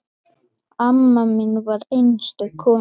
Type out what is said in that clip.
Amma mín var einstök kona.